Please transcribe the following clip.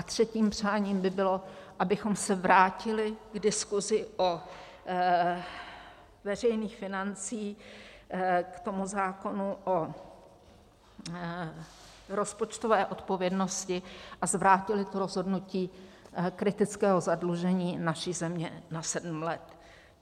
A třetím přáním by bylo, abychom se vrátili k diskuzi o veřejných financích, k tomu zákonu o rozpočtové odpovědnosti, a zvrátili to rozhodnutí kritického zadlužení naší země na sedm let.